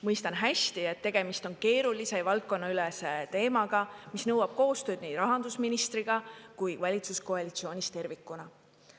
Mõistan hästi, et tegemist on keerulise ja valdkonnaülese teemaga, mis nõuab koostööd nii rahandusministriga kui valitsuskoalitsioonis tervikuna.